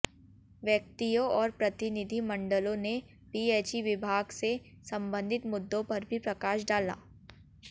व्यक्तियों और प्रतिनिधिमंडलों ने पीएचई विभाग से संबंधित मुद्दों पर भी प्रकाश डाला